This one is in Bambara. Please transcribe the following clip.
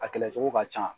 A kɛlɛ cogo ka ca